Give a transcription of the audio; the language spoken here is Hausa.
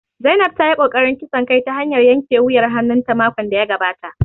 Zainab ta yi ƙoƙarin kisan kai ta hanyar yanke wuyar hannun ta makon da ya gabata